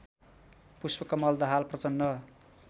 Pushpa Kamal Dahal Prachanda